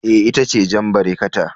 Eh, ita ce jan barekata